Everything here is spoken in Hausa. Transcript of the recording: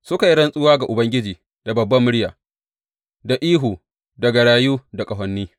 Suka yi rantsuwa ga Ubangiji da babbar murya, da ihu da garayu da ƙahoni.